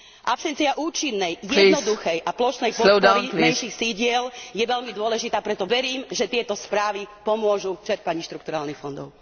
Absencia účinnej, jednoduchej a plošnej podpory menších sídel je veľmi dôležitá, preto verím, že tieto správy pomôžu v čerpaní štrukturálnych fondov.